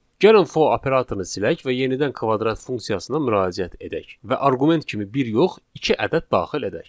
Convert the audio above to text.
Gəlin for operatorunu silək və yenidən kvadrat funksiyasına müraciət edək və arqument kimi bir yox, iki ədəd daxil edək.